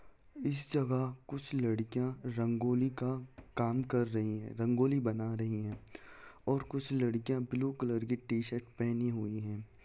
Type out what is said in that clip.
इस जगह कुछ लड़कियां रंगोली का काम कर रही हैं रंगोली बना रही है और कुछ लड़कियां ब्लू कलर की टीशर्ट पहनी हुई है ।